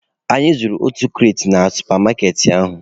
Anyị zujuru otu kaati na supa maaketị ahụ.